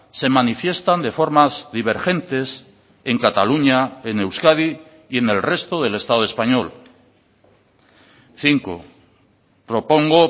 se manifiestan de formas divergentes en cataluña en euskadi y en el resto del estado español cinco propongo